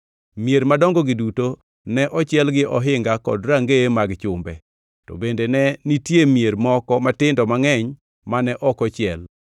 Mier madongogi duto ne ochiel gi ohinga kod rangeye mag chumbe, to bende ne nitie mier moko matindo mangʼeny mane ok ochiel.